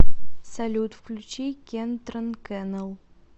салют включи кентрон кэнэл